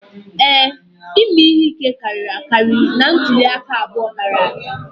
Ee, ime ihe ike karịrị akarị na ntuli aka abụọ gara aga